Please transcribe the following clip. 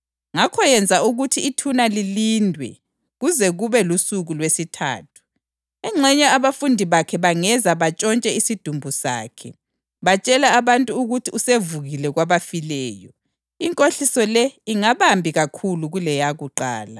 Ngakho yenza ukuthi ithuna lilindwe kuze kube lusuku lwesithathu. Engxenye abafundi bakhe bangeza bantshontshe isidumbu sakhe, batshele abantu ukuthi usevukile kwabafileyo. Inkohliso le ingabambi kakhulu kuleyakuqala.”